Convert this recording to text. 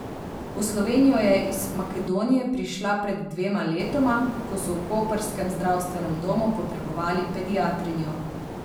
V Slovenijo je iz Makedonije prišla pred dvema letoma, ko so v koprskem zdravstvenem domu potrebovali pediatrinjo.